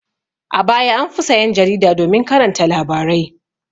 A baya an fi sayan jarida domin karanta labarai.